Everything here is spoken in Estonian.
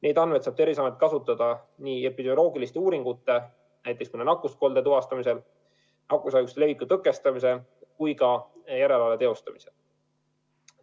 Neid andmeid saab Terviseamet kasutada nii epidemioloogilisteks uuringuteks, näiteks mõne nakkuskolde tuvastamiseks, nakkushaiguste leviku tõkestamiseks kui ka järelevalve teostamiseks.